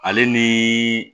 Ale ni